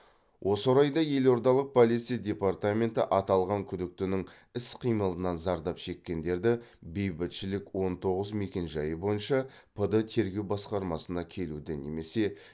осы орайда елордалық полиция департаменті аталған күдіктінің іс қимылынан зардап шеккендерді бейбітшілік он тоғыз мекенжайы бойынша пд тереу басқармасына келуді немесе